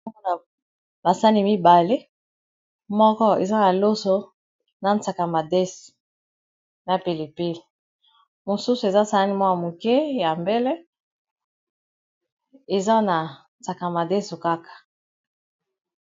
Balakibiso basani mibale moko eza na loso na sakamadeso na pelipine mosusu eza salani mwaa moke ya mbele eza na sakamadeso kaka